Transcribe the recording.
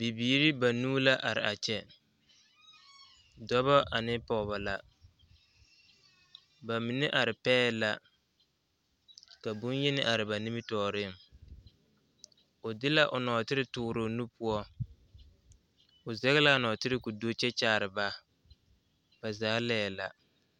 Bibiiri banuu la are a kyɛ dɔba ane pɔgeba la ba mine are pɛɛ la ka bonyeni are ba nimitɔɔreŋ o de la o nɔɔtere toore o nu poɔ o zɛge la a nɔɔtere k,o do kyɛ kyaare ba ba zaa laɛ la.